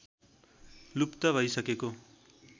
लुप्त भइसकेको